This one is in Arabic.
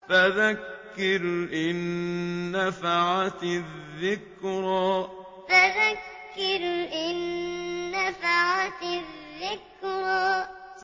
فَذَكِّرْ إِن نَّفَعَتِ الذِّكْرَىٰ فَذَكِّرْ إِن نَّفَعَتِ الذِّكْرَىٰ